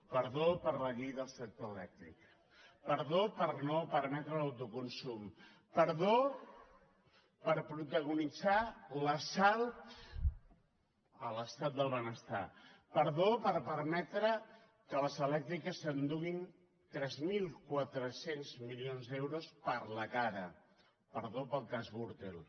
perdó per la llei del sector elèctric però per no permetre l’autoconsum perdó per protagonitzar l’assalt a l’estat del benestar perdó per permetre que les elèctriques s’enduguin tres mil quatre cents milions d’euros per la cara perdó pel cas gürtel